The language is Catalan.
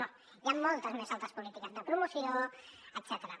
no hi han moltes més altres polítiques de promoció etcètera